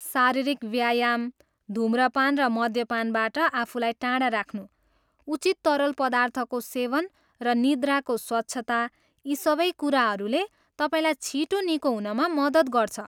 शारीरिक व्यायाम, धुमपान र मद्यपानबाट आफूलाई टाढा राख्नु, उचित तरल पदार्थको सेवन र निद्राको स्वच्छता, यी सबै कुराहरूले तपाईँलाई छिटो निको हुनमा मद्दत गर्छ।